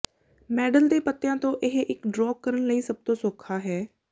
medal ਦੇ ਪੱਤਿਆਂ ਤੋਂ ਇਹ ਇੱਕ ਡ੍ਰੌਕ ਕਰਨ ਲਈ ਸਭ ਤੋਂ ਸੌਖਾ ਹੈ